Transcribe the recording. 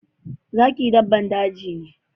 Zaki dabban daji ne.